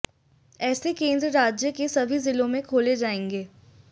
ऐसे केंद्र राज्य के सभी जिलों में खोले जाएंगे